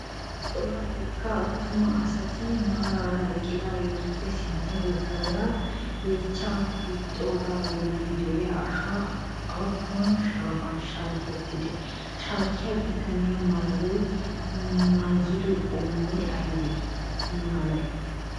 Cora wogga attuma asati maara eqqidaageetuppe sintta baggaara yeechchaa hiixxogaa bollan de'iya ashoy appuun sohuwan shaakittidee? Shaakiya bitanee maayido maayuwaa qommoy ay malee?